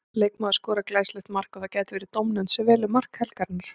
Leikmaður skorar glæsilegt mark og það gæti verið dómnefnd sem velur mark helgarinnar.